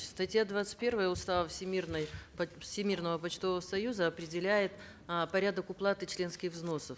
статья двадцать первая устава всемирной всемирного почтового союза определяет э порядок уплаты членских взносов